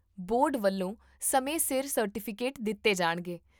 board ਵੱਲੋਂ ਸਮੇਂ ਸਿਰ ਸਰਟੀਫਿਕੇਟ ਦਿੱਤੇ ਜਾਣਗੇ